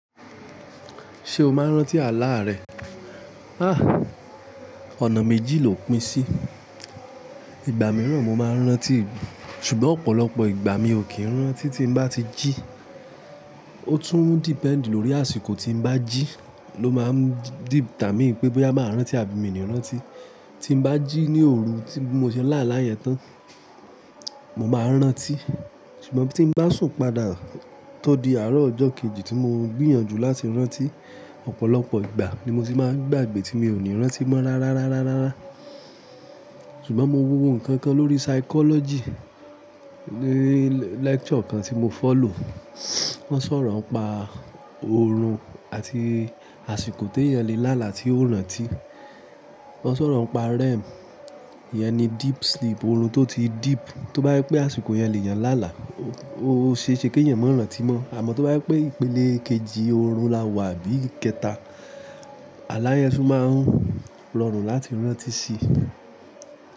Ṣé o máa ń rántí àláà rẹ? Ah! Ọ̀nà méjì lò pín sí. Ìgbà mìíràn mo máa ń rántí, ṣùgbọ́n ọ̀pọ̀lọpọ̀ ìgbà mi ò kí ń rántí tí n bá ti jí. Ó tún depend lórí àsìkò tí n bá jí ló máa ń determine pé bóyá màá rántí àbí mi i ní rántí. Tí n bá jí ní òru tí mo bi mo se lá àlá yẹn tán, mo máa n rántí. Ṣùgbọ́n tí emi bá sùn padà tó di àárọ̀ ọjọ́ kejì tí mo ń gbìyànjú láti rántí, ọ̀pọ̀lọpọ̀ ìgbà ni mo ti máa ń gbàgbé tí mo ò ní rántí mọ́ rárá rárá rárá rárá. Ṣùgbọ́n mo wo ohun kan kan lórí psychology ní lecture kan tí mo follow. Wọ́n sọ̀rọ̀ ń pa oorun àti àsìkò tí èèyàn lè lá àlá tí ó rántí. Wọ́n sọ̀rọ̀ ń pa REM. Íyẹn ni deep sleep, oorun tó ti deep. Tó bá jé pé àsìkò yẹn lè eeyàn lá àlá, ó ṣe é ṣe kí ẹ̀eyàn má rántí mọ́. Àmọ́ tó bá jé pé ìpele kejì oorun la wà àbí ikẹta, àlá yẹn tún máa ń rọrùn láti rántí sí.